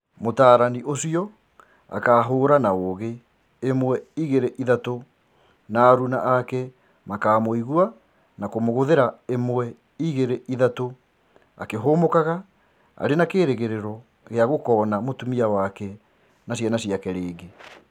Mũtaarani ũcio akahũũra na ũgĩ, ĩmwe igĩrĩ ithatũ na aruna ake makamũigua na kũmũgũthĩra ĩmwe igĩrĩ ithatũ, Akĩhũmũkaga arĩ na kĩĩrĩgĩrĩro gĩa gũkoona mũtumia wake na ciana ciake rĩngĩ.